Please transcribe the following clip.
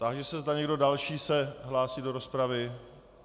Táži se, zda někdo další se hlásí do rozpravy.